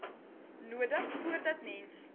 nodig voordat mens